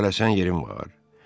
Tələsən yerin var?